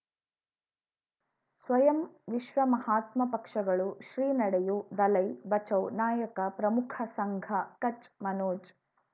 ಸ್ವಯಂ ವಿಶ್ವ ಮಹಾತ್ಮ ಪಕ್ಷಗಳು ಶ್ರೀ ನಡೆಯೂ ದಲೈ ಬಚೌ ನಾಯಕ ಪ್ರಮುಖ ಸಂಘ ಕಚ್ ಮನೋಜ್